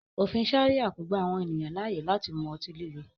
Ofin Sharia ko gba awọn eniyan laaye lati mu ọti-lile